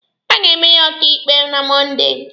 A ga-eme ya ọkaịkpe na Mọnde.